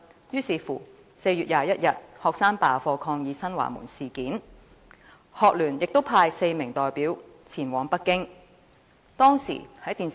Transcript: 於是，學生便在4月21日罷課抗議新華門事件，學聯亦派出4名代表前往北京。